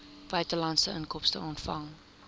buitelandse inkomste ontvang